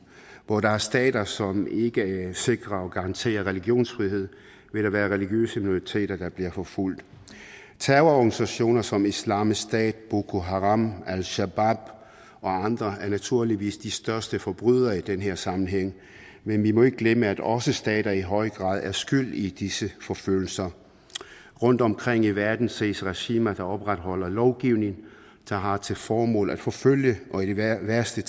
hvor der er stater som ikke sikrer og garanterer religionsfriheden vil der være religiøse minoriteter der bliver forfulgt terrororganisationer som islamisk stat boku haram al shabaab og andre er naturligvis de største forbrydere i den her sammenhæng men vi må ikke glemme at også stater i høj grad er skyld i disse forfølgelser rundtomkring i verden ses regimer der opretholder lovgivning der har til formål at forfølge og i værste